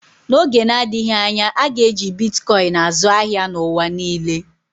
N'oge na-adịghị anya, a ga-eji Bitkọin azụ ahịa n'ụwa niile.